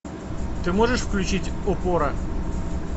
ты можешь включить опора